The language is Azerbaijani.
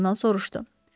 Kardinal soruşdu.